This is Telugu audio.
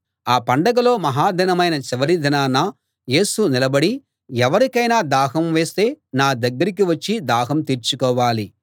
ఆ పండగలో మహాదినమైన చివరి దినాన యేసు నిలబడి ఎవరికైనా దాహం వేస్తే నా దగ్గరికి వచ్చి దాహం తీర్చుకోవాలి